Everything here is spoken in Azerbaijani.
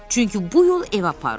Çünki bu yol evə aparır.